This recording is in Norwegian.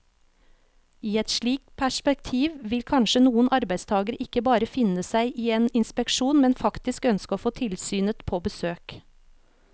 I et slikt perspektiv vil kanskje noen arbeidstagere ikke bare finne seg i en inspeksjon, men faktisk ønske å få tilsynet på besøk.